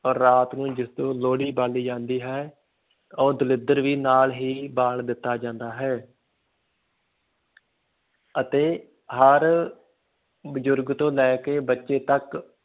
ਰਾਤ ਨੂੰ ਜਦੋਂ ਲੋਹੜੀ ਬਾਲੀ ਜਾਂਦੀ ਹੈ, ਉਹ ਦਲਿੱਦਰ ਵੀ ਨਾਲ ਹੀ ਬਾਲ ਦਿੱਤਾ ਜਾਂਦਾ ਹੈ ਅਤੇ ਹਰ ਬਜ਼ੁਰਗ ਤੋਂ ਲੈ ਕੇ ਬੱਚੇ ਤੱਕ